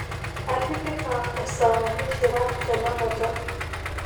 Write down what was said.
atipika esaa mishira tenakata